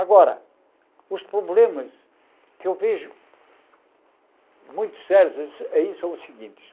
Agora, os problemas que eu vejo muito sérios eles eles são os seguintes.